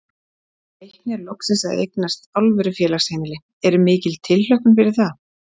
Nú eru Leiknir loksins að eignast alvöru félagsheimili, er mikil tilhlökkun fyrir það?